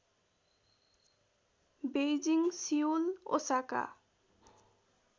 Beijing Seoul Osaka